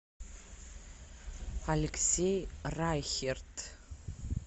алексей райхерт